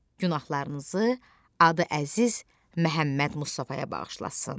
Günahlarınızı adı Əziz Məhəmməd Mustafaya bağışlasın.